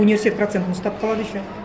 университет процентін ұстап қалады еще